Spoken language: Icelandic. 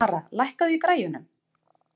Mara, lækkaðu í græjunum.